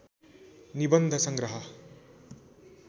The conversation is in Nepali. निबन्ध संग्रह